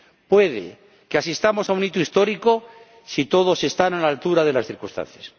Puede que asistamos a un hito histórico si todos están a la altura de las circunstancias.